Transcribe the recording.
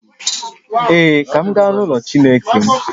Ee, ka m gaa n’ụlọ Chineke m